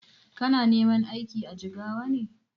Kana neman aiki a Jigawa ne?